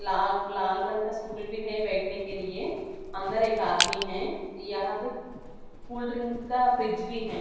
लाल लाल रंग का स्टूल भी है बैठने के लिए अंदर एक आदमी है यहाँ तो कोल्ड ड्रिंक का फ्रीज भी है।